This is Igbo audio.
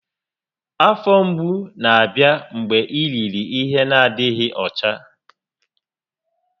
Afọ mgbu na-abịa mgbe i riri ihe n'adịghị ọcha